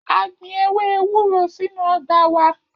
A gbin ewe ewuro sinu ọgba wa.